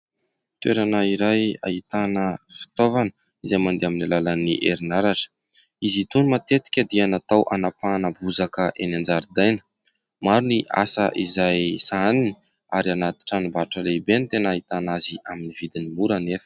Toerana iray ahitana fitaovana izay mandeha amin'ny alalan'ny herinaratra. Izy itony matetika dia natao hanapahana bozaka eny an-jaridaina. Maro ny asa izay sahaniny ary anaty tranombarotra lehibe no tena ahitana azy amin'ny vidiny mora anefa.